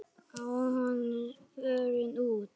Á honum stóð: Fórum út!